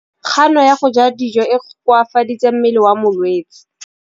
Kganô ya go ja dijo e koafaditse mmele wa molwetse.